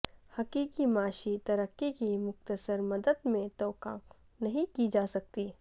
حقیقی معاشی ترقی کی مختصر مدت میں توقع نہیں کی جا سکتی